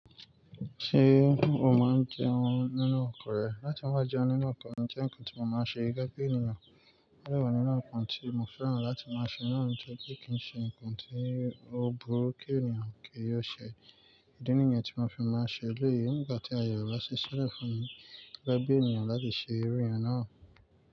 Ṣé o máa ń jẹun nínú ọkọ rẹ? Láti máa jẹun nínú ọkọ, ó jẹ́ nǹkan tí mo máa ń ṣe gẹ́gẹ́ ènìyàn. Ó dà wọ́n nínú nǹkan tí mo fẹ́ràn láti máa ṣe náà ń jẹ́ pé kí n ṣe nǹkan tí ó burú kí ènìyàn kì o ṣe. Ìdí nìyẹn tí mo fi máa ń ṣe èlèyí, nígbà tí Ààyè o ba ṣe ṣẹ́lẹ̀ fún mi gẹ́gẹ́ ènìyàn láti ṣe eré yẹn náà.